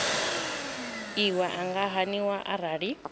iwe i nga haniwa arali